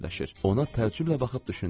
Ona təəccüblə baxıb düşündüm.